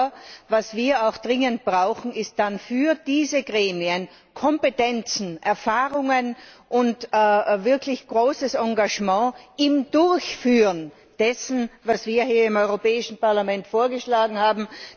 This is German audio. Aber was wir auch dringend brauchen, ist dann für diese Gremien Kompetenzen, Erfahrungen und wirklich großes Engagement im Durchführen dessen, was wir hier im Europäischen Parlament vorgeschlagen haben.